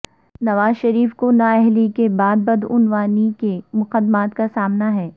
نواز شریف کو نااہلی کے بعد بدعنوانی کے مقدمات کا سامنا ہے